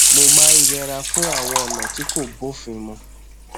mo máa ń yẹra fún àwọn ònà tí kò bófin mu